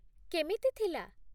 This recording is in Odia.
କେମିତି ଥିଲା ?